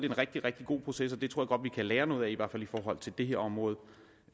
en rigtig rigtig god proces og det tror vi kan lære noget af i hvert fald i forhold til det her område